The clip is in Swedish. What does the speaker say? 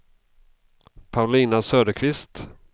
Paulina Söderqvist